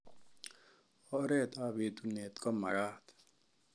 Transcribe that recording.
Oret ab etunet komakat